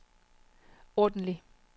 ordentlig